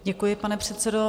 Děkuji, pane předsedo.